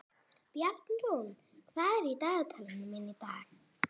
Bjarnrún, hvað er í dagatalinu mínu í dag?